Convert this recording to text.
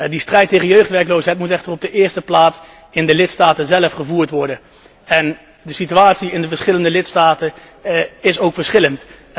De strijd tegen jeugdwerkloosheid moet echter in de eerste plaats in de lidstaten zelf gevoerd worden. De situatie in de verschillende lidstaten is immers verschillend.